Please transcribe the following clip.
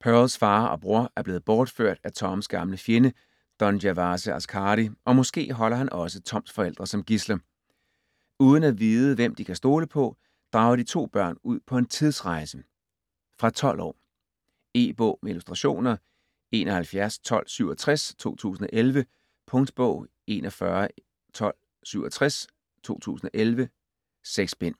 Pearls far og bror er blevet bortført af Toms gamle fjende Don Gervase Askary og måske holder han også Toms forældre som gidsler. Uden at vide hvem de kan stole på, drager de to børn ud på en tidsrejse. Fra 12 år. E-bog med illustrationer 711267 2011. Punktbog 411267 2011. 6 bind.